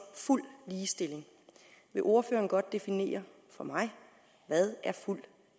fuld ligestilling vil ordføreren godt definere for mig hvad fuld